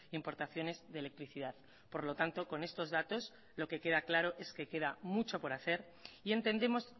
importaciones de electricidad por lo tanto con estos datos lo que queda claro es que queda mucho por hacer y entendemos